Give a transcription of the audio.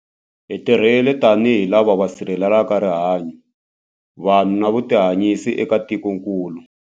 Hi tirhile tanihi lava va sirhelelaka rihanyu, vanhu na vutihanyisi eka tikokulu.